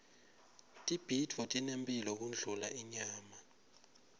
tibhidvo tinemphilo kundlula inyama